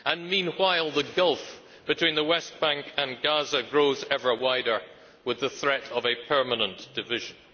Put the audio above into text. Meanwhile, the gulf between the West Bank and Gaza grows ever wider, with the threat of a permanent division.